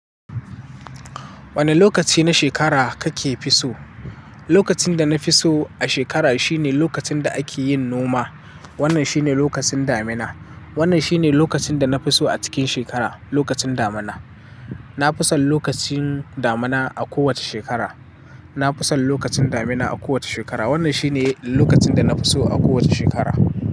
Wani lokaci na shekara kake fi so? Lokacin da na fi so a shekara shine lokacin da ake yin noma. Wannan shine lokacin damina. Wannan shine lokacin da na fi so a cikin shekara, lokacin damina. Na fi son lokacin damina a kowace shekara. Na fi son lokacin damina a kowace shekara. Wannan shine lokacin da na fi so a kowace shekara.